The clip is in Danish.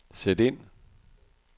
sæt ind